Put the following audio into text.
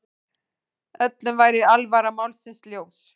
Öllum væri alvara málsins ljós.